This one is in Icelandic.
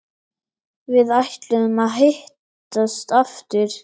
Við ætluðum að hittast aftur.